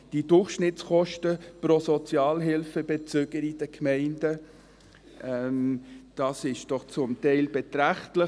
Die Durchschnittskosten pro Sozialhilfebezüger in den Gemeinden sind zum Teil doch beträchtlich.